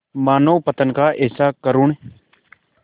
मानवपतन का ऐसा करुण